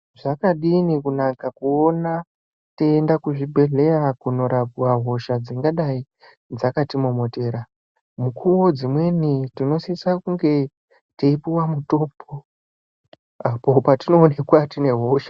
Zvakadini kunaka kuona teienda kuzvibhedhleya kunorapwa hosha dzingadai dzakatimomotera. Mukuvo dzimweni tinosisa kunge teipuva mutombo apo patinoonekwa tine hosha.